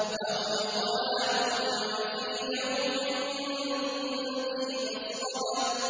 أَوْ إِطْعَامٌ فِي يَوْمٍ ذِي مَسْغَبَةٍ